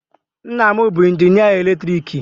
Nna m bụ injinịa eletriki.